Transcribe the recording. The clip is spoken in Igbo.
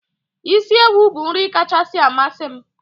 Isi ewu bụ nri kacha amasị m.